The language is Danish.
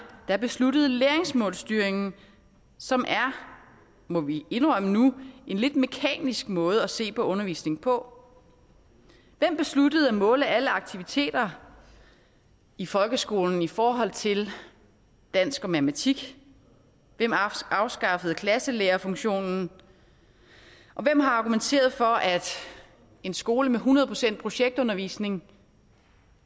der besluttede læringsmålsstyringen som er må vi indrømme nu en lidt mekanisk måde at se på undervisningen på hvem besluttede at måle alle aktiviteter i folkeskolen i forhold til dansk og matematik hvem afskaffede klasselærerfunktionen og hvem har argumenteret for at en skole med hundrede procent projektundervisning